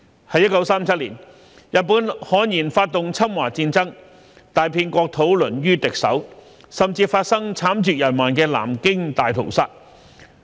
1937年，日本悍然發動侵華戰爭，大片國土淪於敵手，甚至發生慘絕人寰的南京大屠殺。